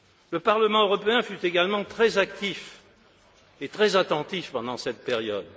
Le Parlement européen fut également très actif et très attentif pendant cette période.